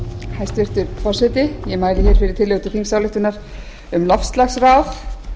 hæstvirtur forseti ég mæli hér fyrir tillögu til þingsályktunar um loftslagsráð